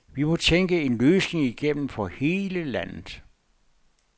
Vi må tænke en løsning igennem for hele landet.